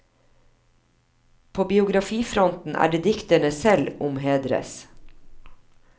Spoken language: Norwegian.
På biografifronten er det dikterne selv om hedres.